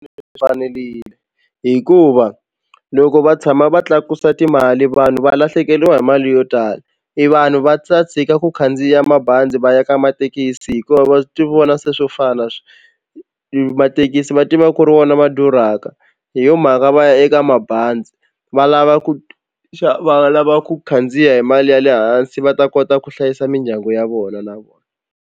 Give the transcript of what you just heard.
hikuva loko va tshama va tlakusa timali vanhu va lahlekeriwa hi mali yo tala i vanhu va ta tshika ku khandziya mabazi va ya ka mathekisi hikuva va tivona se swo fana mathekisi va tiva ku ri vona ma durhaka hi yo mhaka va ya eka mabazi va lava ku va lava ku khandziya hi mali ya le hansi va ta kota ku hlayisa mindyangu ya vona na vona.